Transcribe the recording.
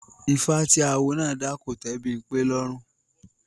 Ifá tí Awo náà dá kò tẹ́ Bímpé lọ́rùn